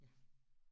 Ja